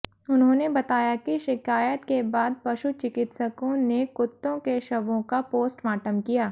उन्होंने बताया कि शिकायत के बाद पशु चिकित्सकों ने कुत्तों के शवों का पोस्टमार्टम किया